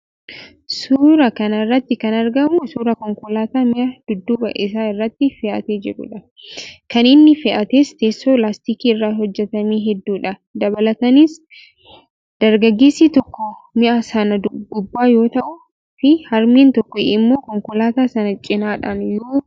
Suuraa kana irratti kan argamu suuraa konkolaataa mi'a dudduuba isaa irratti fe'atee jirudha. kan inni fe'ates teessoo laastikii irraa hojjetame hedduudha. Dabalataanis, dargageessi tokko mi'a sana gubbaa yoo taa'uu fi harmeen tokko immoo konkolaataa sana cinaadhaan yoo deemaan ni mul'ata.